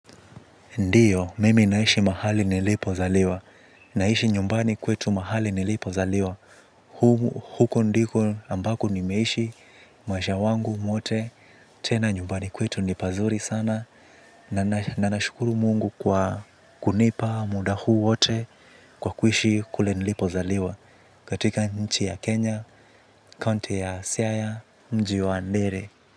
Ndiyo, mimi naishi mahali nilipo zaliwa. Naishi nyumbani kwetu mahali nilipo zaliwa. Huko ndiko ambako nimeishi maisha yangu yote. Tena nyumbani kwetu nipazuri sana. Nanashukuru mungu kwa kunipa muda huu wote kwa kuishi kule nilipo zaliwa. Katika nchi ya Kenya, kaunti ya siata, mji wa Ndiri.